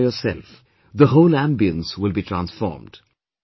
See it for yourself, the whole ambience will be transformed